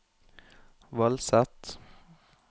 Vallset